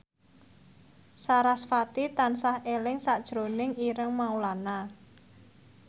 sarasvati tansah eling sakjroning Ireng Maulana